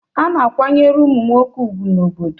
A na-akwanyere ụmụ nwoke ugwu n'obodo